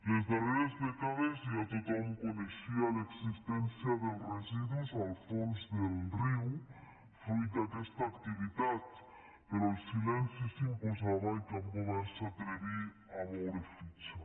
les darreres dècades ja tothom coneixia l’existència dels residus al fons del riu fruit d’aquesta activitat però el silenci s’imposava i cap govern s’atreví a moure fitxa